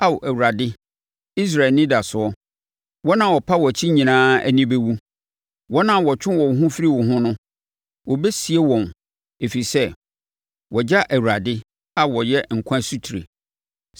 Ao, Awurade, Israel anidasoɔ, wɔn a wɔpa wʼakyi nyinaa ani bɛwu. Wɔn a wɔtwe wɔn ho firi wo ho no, wɔbɛsie wɔn ɛfiri sɛ wɔagya Awurade a ɔyɛ nkwa asutire.